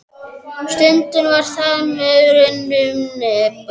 Stundin var þar með runnin upp.